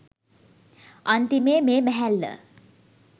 අන්තිමේ මේ මැහැල්ල